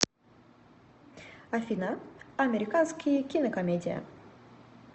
афина американские кинокомедия